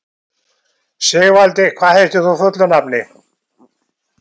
Sigvaldi, hvað heitir þú fullu nafni?